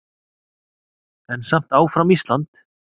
En samt áfram Ísland!